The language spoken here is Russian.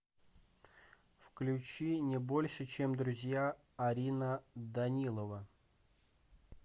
включи не больше чем друзья арина данилова